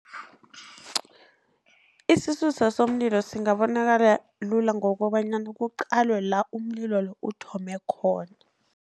Isisusa somlilo singabonakala lula, ngokobanyana kuqalwe la umlilo lo uthome khona.